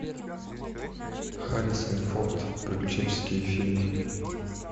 харрисон форд приключенческие фильмы